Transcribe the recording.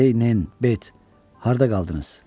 Ey nen, Bet, harda qaldınız?